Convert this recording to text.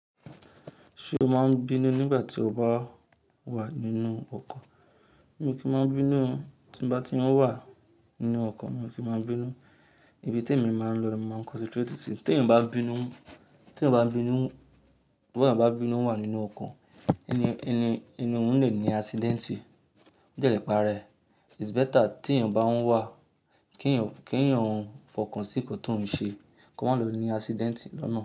Ṣé o máa ń bínú nígbà tí o bá wà nínú ọkọ̀? Mi kí máa ń bínú, tí bá tí ń wà nínú ọkọ̀, mi kí máa ń bínú. Ibi tí èmi máa ń lọ, màá concentrate sí. Tí èèyàn bá bínú, tí èèyàn bá bínú, tí ọba bínú wà nínú ọkọ̀, ẹni, ẹni, ẹni òun lè ní accident. Ó jẹ́ ẹ̀pa rẹ̀. It's better tí èèyàn bá ń wà, kí èèyàn, kí èèyàn fọkàn sí nǹkan tó ń ṣe, kó má lọ ní accident lọ́nà.